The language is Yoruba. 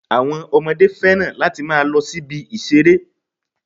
Àwọn Ọmọdé fẹ́ràn láti máa lo sí ibi ìṣeré